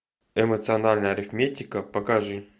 эмоциональная арифметика покажи